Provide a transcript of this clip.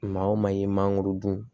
Maa o maa i ye maa dun